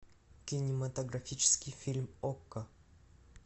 кинематографический фильм окко